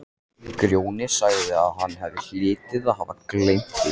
Grjóni sagði að hann hlyti að hafa gleymt því.